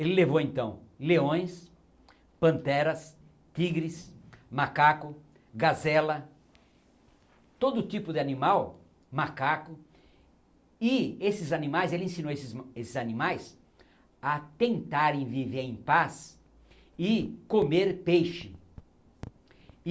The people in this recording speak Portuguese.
Ele levou então leões, panteras, tigres, macaco, gazela, todo tipo de animal, macaco, e esses animais, ele ensinou esses ma esses animais a tentarem viver em paz e comer peixe.